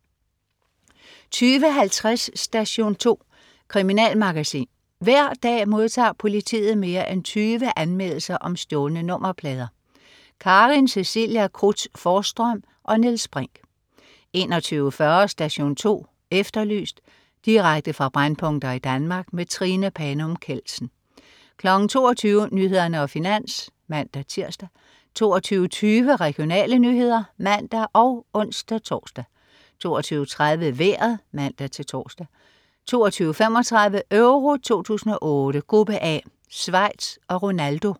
20.50 Station 2. Kriminalmagasin. Hver dag modtager politiet mere end 20 anmeldelser om stjålne nummerplader. Karin Cecilia Cruz Forsstrøm og Niels Brinch 21.40 Station 2 Efterlyst. Direkte fra brændpunkter i Danmark. Trine Panum Kjeldsen 22.00 Nyhederne og Finans (man-tirs) 22.20 Regionale nyheder (man og ons-tors) 22.30 Vejret (man-tors) 22.35 Euro 2008: Gruppe A: Schweiz og Ronaldo